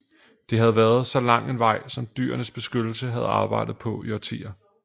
Det havde været så lang en vej som Dyrenes Beskyttelse havde arbejdet på i årtier